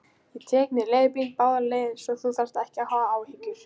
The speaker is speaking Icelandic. Ég tek mér leigubíl báðar leiðir, svo hafðu ekki áhyggjur.